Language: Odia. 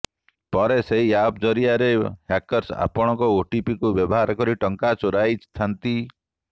ପରେ ସେହି ଆପ ଜରିଆରେ ହ୍ୟାକର୍ସ ଆପଣଙ୍କ ଓଟିପିକୁ ବ୍ୟବହାର କରି ଟଙ୍କା ଚୋରାଇଥାନ୍ତି